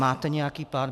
Máte nějaký plán?